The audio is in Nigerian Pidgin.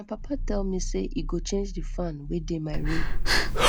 my papa tell me say he go change the fan wey dey my room